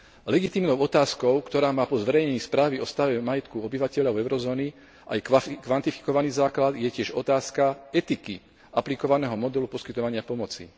Legitímnou otázkou, ktorá má po zverejnení správy o stave majetku obyvateľov eurozóny aj kvantifikovaný základ, je tiež otázka etiky aplikovaného modulu poskytovania pomoci.